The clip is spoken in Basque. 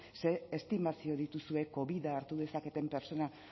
ze estimazio dituzue covida hartu dezaketen pertsona